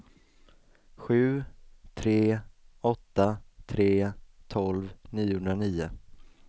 sju tre åtta tre tolv niohundranio